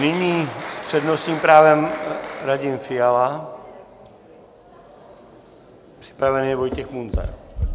Nyní s přednostním právem Radim Fiala, připraven je Vojtěch Munzar.